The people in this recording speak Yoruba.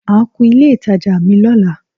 Màá kun ilé ìtajà mi lọ́la